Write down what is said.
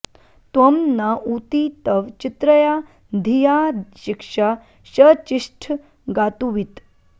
त्वं न ऊती तव चित्रया धिया शिक्षा शचिष्ठ गातुवित्